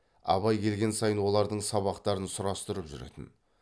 абай келген сайын олардың сабақтарын сұрастырып жүретін